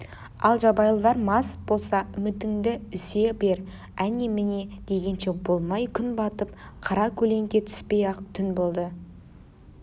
ал жабайылар мас болса үмітіңді үзе бер әне-міне дегенше болмай күн батып қаракөлеңке түспей-ақ түн болды